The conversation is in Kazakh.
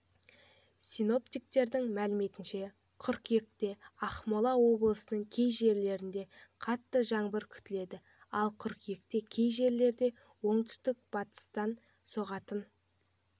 синоптиктердің мәліметінше қыркүйекте ақмола облысының кей жерлерінде қатты жаңбыр күтіледі ал қыркүйекте кей жерлерде оңтүстік-батыстан соғатын